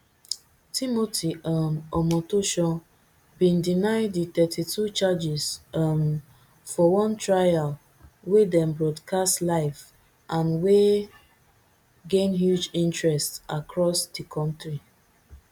timothy um omotoso bin deny di thirty-two charges um for one trial wey dem broadcast live and wey gain huge interest across di kontri